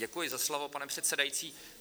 Děkuji za slovo, pane předsedající.